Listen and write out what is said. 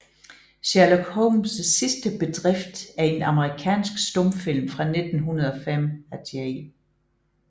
Sherlock Holmes sidste Bedrift er en amerikansk stumfilm fra 1905 af J